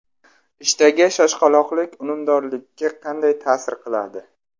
Ishdagi shoshqaloqlik unumdorlikka qanday ta’sir qiladi?.